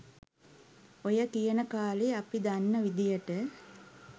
ඔය කියන කාලෙ අපි දන්න විදියට